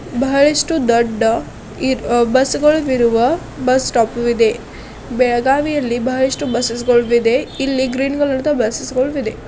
ಬಹಳಷ್ಟು ದೊಡ್ಡ ಬಸ್ಸು ಗಳಿರುವ ಬಸ್ಸ ಸ್ಟಾಪ್ ಇದೆ ಬೆಳಗಾವಿ ಯಲ್ಲಿ ಬಹಳಷ್ಟು ಬುಸ್ಸ್ ಗಳಿದೆ ಇಲ್ಲಿ ಗ್ರೀನ್ ಕಲರ್ ಬುಸ್ಸ್ ಗಳು ಇದೆ.